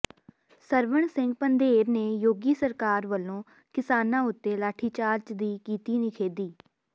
ਸਰਵਣ ਸਿੰਘ ਪੰਧੇਰ ਨੇ ਯੋਗੀ ਸਰਕਾਰ ਵਲੋਂ ਕਿਸਾਨਾਂ ਉਤੇ ਲਾਠੀਚਾਰਜ ਦੀ ਕੀਤੀ ਨਿਖੇਪੀ